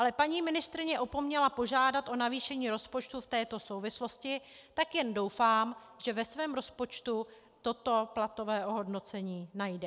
Ale paní ministryní opomněla požádat o navýšení rozpočtu v této souvislosti, tak jen doufám, že ve svém rozpočtu toto platové ohodnocení najde.